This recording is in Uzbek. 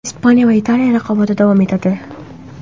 Ispaniya va Italiya raqobati davom etadi.